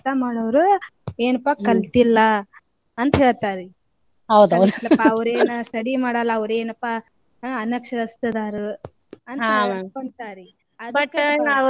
ಈಗ್ ಕಲ್ತವ್ರು ಏನಂತಾರಿ ಏನಪಾ ಕಲ್ತಿಲ್ಲಾ ಅಂತ ಹೇಳ್ತಾರಿ ಅವ್ರೇನ study ಮಾಡಲ್ಲ ಅವ್ರೇನ್ಪಾ ಅನಕ್ಷರಸ್ಥರದಾರು ಅಂತ ಹೇಳ್ತಾರಿ .